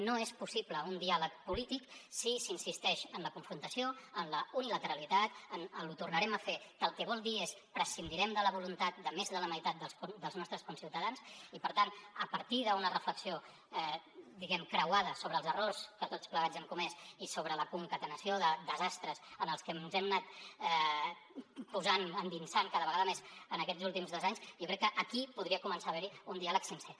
no és possible un diàleg polític si s’insisteix en la confrontació en la unilateralitat en el ho tornarem a fer que el que vol dir és prescindirem de la voluntat de més de la meitat dels nostres conciutadans i per tant a partir d’una reflexió diguem ne creuada sobre els errors que tots plegats hem comès i sobre la concatenació de desastres en els que ens hem anat posant endinsant cada vegada més en aquests últims dos anys jo crec que aquí podria començar a haver hi un diàleg sincer